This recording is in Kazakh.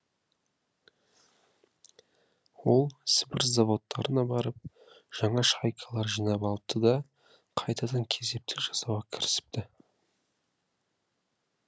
ол сібір заводтарына барып жаңа шайкалар жинап алыпты да қайтадан кезептік жасауға кірісіпті